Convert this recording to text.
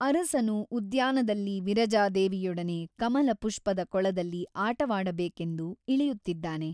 ಅರಸನು ಉದ್ಯಾನದಲ್ಲಿ ವಿರಜಾದೇವಿಯೊಡನೆ ಕಮಲಪುಷ್ಟದ ಕೊಳದಲ್ಲಿ ಆಟವಾಡಬೇಕೆಂದು ಇಳಿಯುತ್ತಿದ್ದಾನೆ.